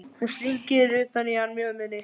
Hún slengir utan í hann mjöðminni.